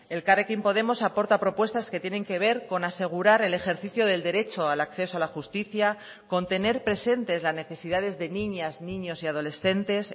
elkarrekin podemos aporta propuestas que tienen que ver con asegurar el ejercicio del derecho al acceso a la justicia con tener presentes las necesidades de niñas niños y adolescentes